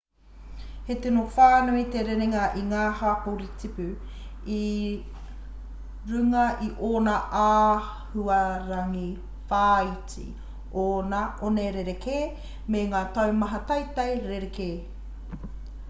he tino whānui te rerenga o ngā hapori tipu i runga i ōna āhuarangi-whāiti ōna one rerekē me ngā taumata teitei rerekē